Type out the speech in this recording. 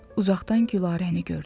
Uzaqdan Gülarəni gördü.